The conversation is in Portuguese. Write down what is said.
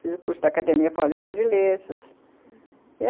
Fiz o curso da Academia Paulista de Letras, uhum.